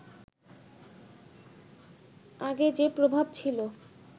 আগে যে প্রভাব ছিল